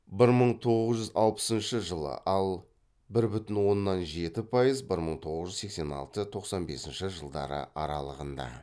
бір мың тоғыз жүз алпысыншы жылы ал бір бүтін оннан жеті пайыз бір мың тоғыз жүз сексен алты тоқсан бесінші жылдары аралығында